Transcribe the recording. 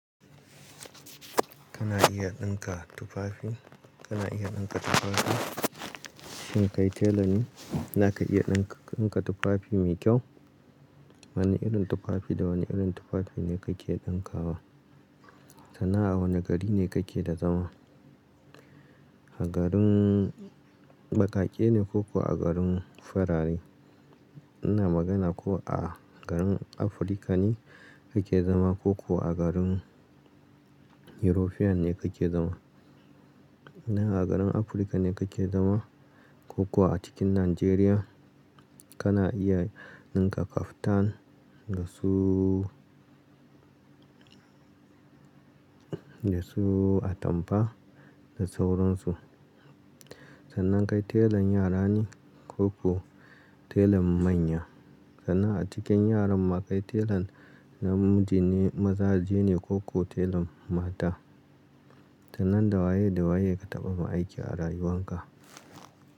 Kana iya ɗinka tufafi? Kana iya ɗinka tufafi? Shin kai telan ne, zaka iya ɗin-ɗinka tufafi mai kyau? Wane irin tufafi da wane irin tufafi ne kake ɗinka wa? Sannan a wane gari ne kake da zama? A garin baƙaƙe ne ko kuwa a garin farare? Ina magana ko a garin Afirka ne kake zama ko kuwa a garin European ne kake zama? Ina a garin Afirka ne kake zama ko kuwa a cikin Najeriya, kana iya ɗinka kaftan da suuu, da su atampa da sauransu. Sannan kai telan yara ne ko kuwa telan manya? Sana'a a cikin yaran ma kai telan namiji ne mazaje ne ko kuwa telan mata? Sannan da waye da waye ka taɓa ma aiki a rayuwanka?